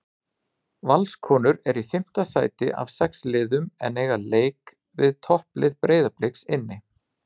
Valskonur eru í fimmta sæti af sex liðum en eiga leik við topplið Breiðabliks inni.